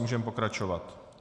Můžeme pokračovat.